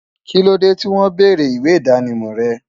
Kílódé tí won bèrè ìwé idánimò re?